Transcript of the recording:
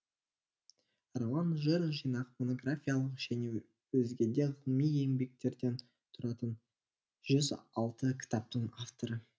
роман жыр жинақ монографиялық және өзгеде ғылыми еңбектерден тұратын жүз алты кітаптың авторы